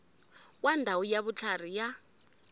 wa ndhawu ya vutlhari ya